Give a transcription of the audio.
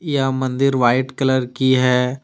यह मंदिर white colour की है।